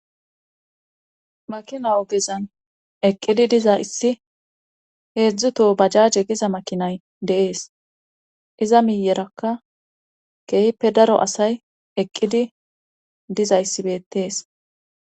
Makina ogezan eqqidi diza issi heedzdzu to bajaaje giza makinay deees iza miyerakka keehppe daro asay eqqidi diza yssibettees